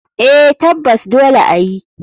Eh tabbas dole ayi.